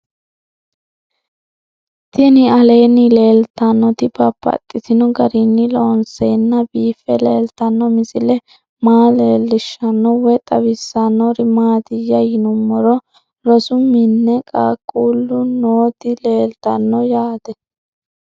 Tinni aleenni leelittannotti babaxxittinno garinni loonseenna biiffe leelittanno misile maa leelishshanno woy xawisannori maattiya yinummoro rosu minne qaaqullu nootti leelittanno yaatte